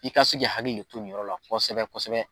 I ka se k'i hakili de to nin yɔrɔ la kosɛbɛ kosɛbɛ.